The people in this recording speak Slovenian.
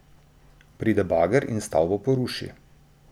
Pride bager in stavbo poruši.